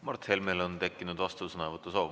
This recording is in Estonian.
Mart Helmel on tekkinud vastusõnavõtu soov.